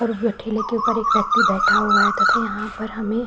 और बैठि लेके ऊपर एक व्यक्ति बैठा हुआ है तथा यहाँ पर हमें --